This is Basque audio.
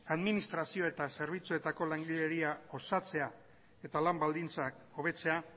administrazio eta zerbitzuetako langileria osatzea eta lan baldintzak hobetzea